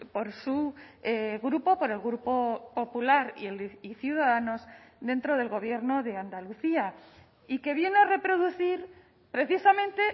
por su grupo por el grupo popular y ciudadanos dentro del gobierno de andalucía y que viene a reproducir precisamente